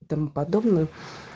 тому подобную